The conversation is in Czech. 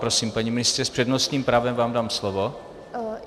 Prosím, paní ministryně, s přednostním právem vám dám slovo.